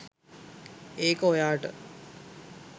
ඒක ඔයාට